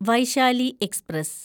Vaishali express